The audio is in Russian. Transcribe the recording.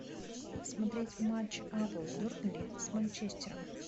смотреть матч апл бернли с манчестером